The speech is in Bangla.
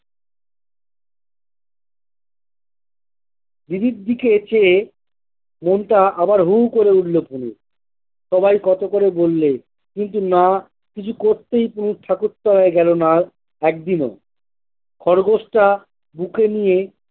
দিদির দিকে চেয়ে মনটা আবার হুহু করে উঠল পুলুর সবাই কত করে বললে কিন্তু না কিছু করতেই পুলু ঠাকুর তলায় গেলোনা একদিনও খরগোশটা বুকে নিয়ে।